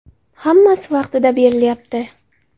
Hammasi vaqtida berilyapti.